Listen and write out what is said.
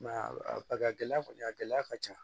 Mɛ a gɛlɛya kɔni a gɛlɛya ka ca